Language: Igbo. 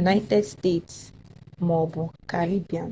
united states ma ọ bụ caribbean